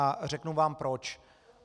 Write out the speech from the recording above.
A řeknu vám proč.